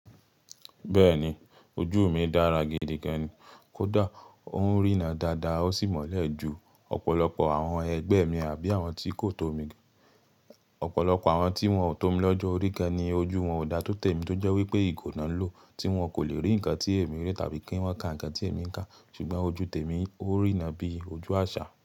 Bẹ́ẹ̀ni, ojú mi dára gidi gan ni, kódà ó ń rína dáadáa ó sì mọ́lẹ̀ ju ọ̀pọ̀lọpọ̀ àwọn ẹgbẹ́ mi àbí àwọn tí kò tó mi. Ọ̀pọ̀lọpọ̀ àwọn tí wọ́n tó mi lọ́jọ́ orí gán ni ojú wọn ò dá tó tèmi tó jẹ́ wípé ìgò náà ń lò tí wọn kò lè rí nǹkan tí èmi rí tàbí kí wọ́n ka nǹkan tí èmi ń ka. Ṣùgbọ́n ojú tèmi ó ń rína bí ojú àṣà.